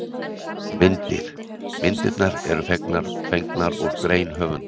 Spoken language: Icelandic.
Myndir: Myndirnar eru fengnar úr grein höfundar.